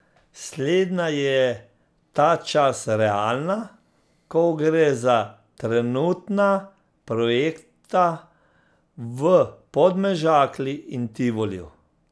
Slednja je ta čas realna, ko gre za trenutna projekta v Podmežakli in Tivoliju.